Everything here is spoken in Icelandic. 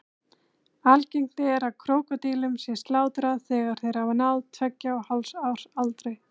Algengt er að krókódílum sé slátrað þegar þeir hafa náð tveggja og hálfs árs aldri.